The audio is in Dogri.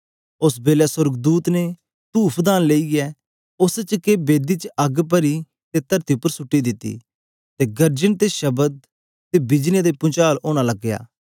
ओस बेलै सोर्गदूत ने तूफदान लेईयै उस्स च के बेदी च अग्ग परी ते तरती उपर सुट्टी दिती ते गर्जन ते शब्द ते बिजलियां ते पुंचाल ओना लगे